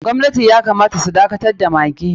Gwamnatin ya kamata su dakatar da maggi.